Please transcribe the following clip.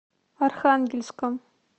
архангельском